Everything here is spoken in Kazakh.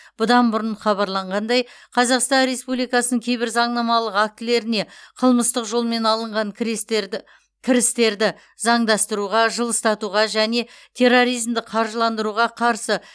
бұдан бұрын хабарланғандай қазақстан республикасының кейбір заңнамалық актілеріне қылмыстық жолмен алынған кірестерді кірістерді заңдастыруға жылыстатуға және терроризмді қаржыландыруға қарсы